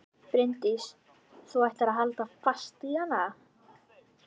Bryndís: Þú ætlar að halda fast í hana?